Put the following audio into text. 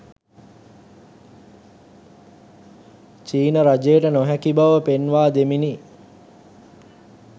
චීන රජයට නොහැකි බව පෙන්වා දෙමිනි